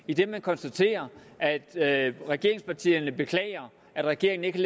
idet man konstaterer at regeringspartierne beklager at regeringen ikke